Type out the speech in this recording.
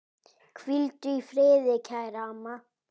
Hvíldu í friði, kæra amma.